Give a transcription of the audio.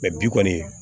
bi kɔni